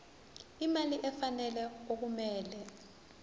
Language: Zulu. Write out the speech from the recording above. imali efanele okumele